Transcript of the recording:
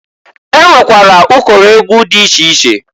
E nwekwara ụkọrọ egwu dị iche iche.